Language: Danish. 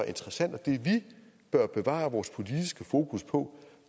interessant og det vi bør bevare vores politiske fokus på